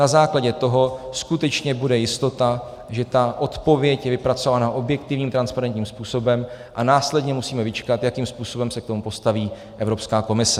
Na základě toho skutečně bude jistota, že ta odpověď je vypracovaná objektivním transparentním způsobem a následně musíme vyčkat, jakým způsobem se k tomu postaví Evropská komise.